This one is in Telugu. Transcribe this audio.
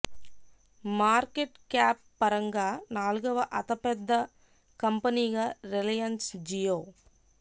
మార్కెట్ క్యాప్ పరంగా నాలుగవ అతపెద్ద కంపెనీగా రిలయన్స్ జియో